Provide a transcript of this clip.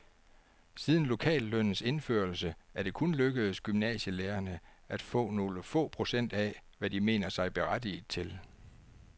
Siden lokallønnens indførelse er det kun lykkedes gymnasielærerne at få nogle få procent af, hvad de mener sig berettiget til.